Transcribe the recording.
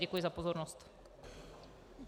Děkuji za pozornost.